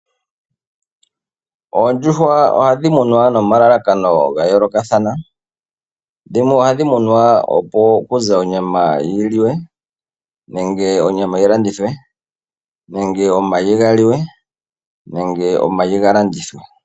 Oondjuhwa ohadhimunwa nomalalakano ngayoloka thana, dhimwe ohadhimunwa opo kuze onyama yiliwe nenge onyama yilandithwe nenge omayi ngaliwe nenge omayi ngalandithwe.